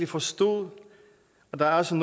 forstod at der altså